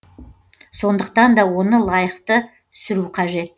сонықтан да оны лайықты сүру қажет